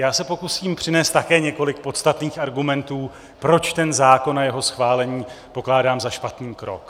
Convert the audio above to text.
Já se pokusím přinést také několik podstatných argumentů, proč ten zákon a jeho schválení pokládám za špatný krok.